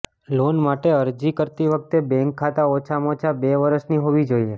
loan માટે અરજી કરતી વખતે બૅંક ખાતા ઓછામાં ઓછા બે વર્ષની હોવી જોઈએ